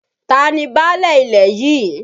Ta ni báálẹ̀ ilẹ̀ yìí?